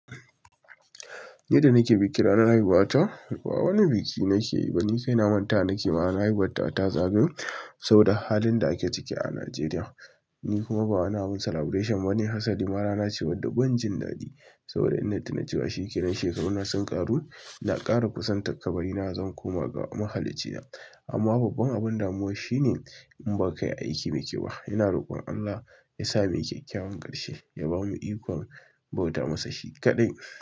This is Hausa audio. Yadda nake bikin ranar haihuwata, ba wani biki nake yi ba. Ni kai na mantawa nake ma ranar haihuwa tawa ta zagayo, saboda halin da ake ciki a Najeriya. Ni kuma ba wani abin celebration bane hasari ma. Rana ce wadda ban jin daɗi, saboda inna tuna cewa shekaru na sun ƙaru, ina ƙara kusantakkabari na zan koma ga mahallicina. Amma babban abin damuwa shine in ba ka yi aiki mai kyau ba, ina rokon Allah ya sa muyi kyakkyawan ƙarshe ya ba mu ikon bauta masa shi kaɗai.